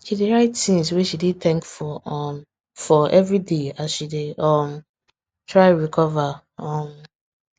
she dey write things wey she dey thankful um for everyday as she dey um try recover um